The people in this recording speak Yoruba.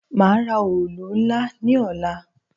Màá ra òòlù ńlá ní ọ̀la.